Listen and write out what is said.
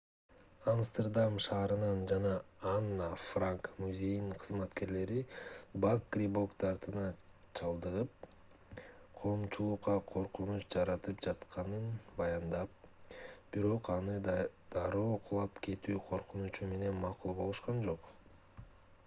амстердам шаарынын жана анна франк музейинин кызматкерлери бак грибок дартына чалдыгып коомчулукка коркунуч жаратып жатканын баяндап бирок анын дароо кулап кетүү коркунучу менен макул болушкан жок